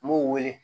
N b'u wele